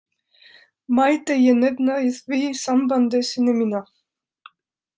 Mætti ég nefna í því sambandi syni mína.